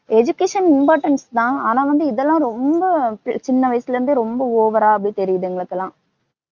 education importance தான். ஆனா வந்து இதெல்லாம் ரொம்ப சின்னவயசுலேந்தே ரொம்ப over ஆ அப்படியே தெரியுது எங்களுக்குலாம்.